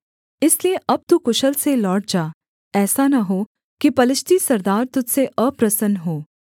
इसलिए अब तू कुशल से लौट जा ऐसा न हो कि पलिश्ती सरदार तुझ से अप्रसन्न हों